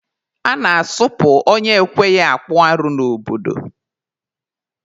A na-asụpụ onye ekweghị akpụ arụ n'obodo.